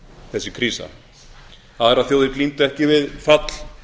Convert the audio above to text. þessi krísa aðrar þjóðir glímdu ekki við fall